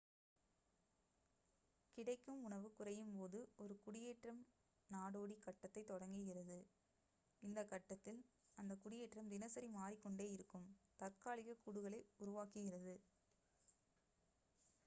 கிடைக்கும் உணவு குறையும் போது ஒரு குடியேற்றம் நாடோடி கட்டத்தைத் தொடங்குகிறது இந்தக் கட்டத்தில் அந்தக் குடியேற்றம் தினசரி மாறிக்கொண்டேயிருக்கும் தற்காலிக கூடுகளை உருவாக்குகிறது